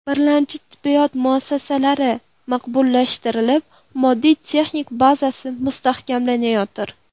Birlamchi tibbiyot muassasalari maqbullashtirilib, moddiy-texnik bazasi mustahkamlanayotir.